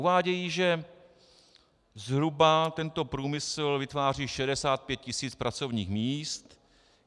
Uvádějí, že zhruba tento průmysl vytváří 65 tisíc pracovních míst.